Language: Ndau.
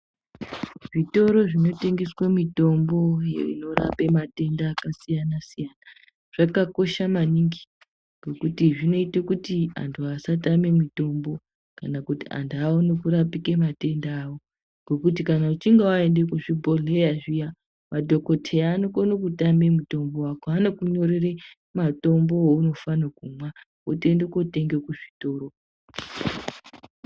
Zvitoro zvinotengeswe mitombo inorape matenda akasiyana-siyana, zvakakosha maningi ngekuti zvinoyita kuti antu asatame mitombo kana kuti antu awone kurapike matenda awo, ngokuti kana uchinge waenda kuzvibhodhleya zviya, madhokodheya anokona kutame mutombo wako, vanokunyorera mutombo waunofane kumwa wotondotenga kuzvitoro.